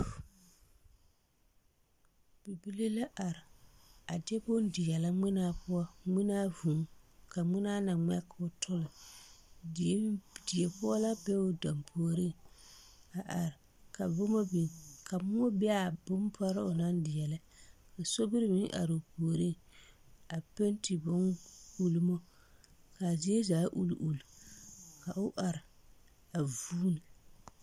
Bibile la are a de bone deɛlɛ ŋmenaa poɔ, ŋmenaa vūū, ka ŋmenaa na ŋmɛ k'o tole die pɔge la be o dampuoriŋ a are ka boma biŋ ka moɔ be a bompare onaŋ deɛlɛ ka sobiri meŋ are o puoriŋ a penti ulimo ka a zie zaa uli uli ka o are a vuuni